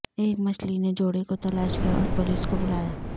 ایک مچھلی نے جوڑے کو تلاش کیا اور پولیس کو بلایا